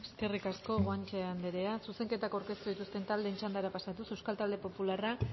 eskerrik asko guanche anderea zuzenketak aurkeztu dituzten taldeen txandara pasatuz euskal talde popularrak